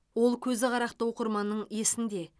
ол көзіқарақты оқырманның есінде